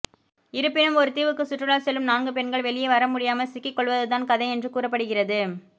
இருப்பினும் ஒரு தீவுக்கு சுற்றுலா செல்லும் நான்கு பெண்கள் வெளியே வரமுடியாமல் சிக்கி கொள்வதுதான் கதை என்று கூறப்படுகிறது